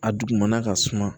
A dugumana ka suma